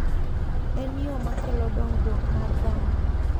En yo makelo dongruok mar dhano.